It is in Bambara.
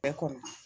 Bɛɛ ko